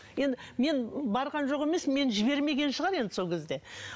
мен барған жоқ емес мені жібермеген шығар енді сол кезде